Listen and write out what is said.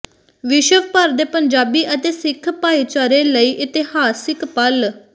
ਵਿਸ਼ਵ ਭਰ ਦੇ ਪੰਜਾਬੀ ਅਤੇ ਸਿੱਖ ਭਾਈਚਾਰੇ ਲਈ ਇਤਿਹਾਸਿਕ ਪਲ